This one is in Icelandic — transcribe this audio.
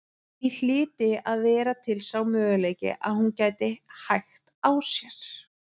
Því hlyti að vera til sá möguleiki að hún gæti hægt á sér.